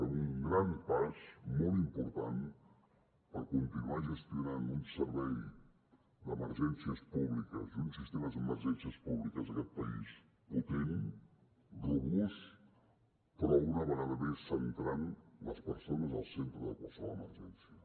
fem un gran pas molt important per continuar gestionant un servei d’emergències públiques i un sistema d’emergències públiques en aquest país potent robust però una vegada més centrant les persones al centre de qualsevol emergència